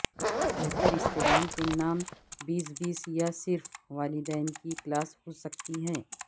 بہتر استعمال کے نام بیس بیس یا صرف والدین کی کلاس ہو سکتی ہے